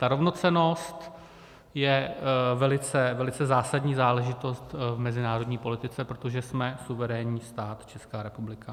Ta rovnocennost je velice zásadní záležitost v mezinárodní politice, protože jsme suverénní stát, Česká republika.